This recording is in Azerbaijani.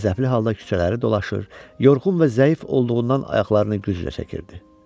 Qəzəbli halda küçələri dolaşır, yorğun və zəif olduğundan ayaqlarını güclə çəkirdi.